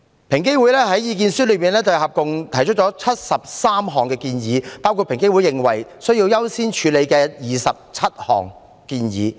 平機會在意見書中合共提出73項建議，當中包括平機會認為需要優先處理的27項建議。